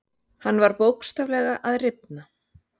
Hann var bókstaflega að rifna.